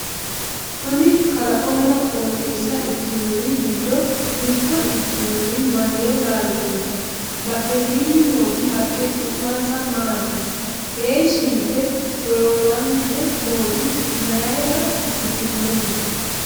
kuni kalaqonna qooxeessa ikkinori giddo mitto ikinori maye laalchooti? badhesiinni nooti haqqe su'mansa maati? heeshshi yite sholoolante nooti mayeera ikkitinote?